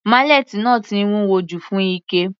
Málẹ́ẹ́tì náà ti wúwo jù fún Ike.